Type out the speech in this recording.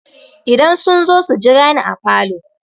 Idan sun zo su jira ni a falo.